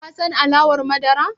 Ka son alawar madara?